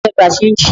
Ta ló fẹ́ gbé ṣéńjì?